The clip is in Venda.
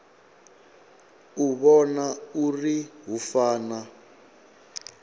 u vhona uri hu fana